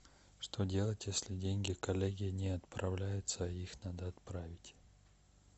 что делать если деньги коллеге не отправляются а их надо отправить